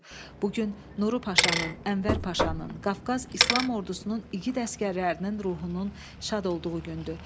Bu gün Nuru Paşanın, Ənvər Paşanın, Qafqaz İslam Ordusunun igid əsgərlərinin ruhunun şad olduğu gündür.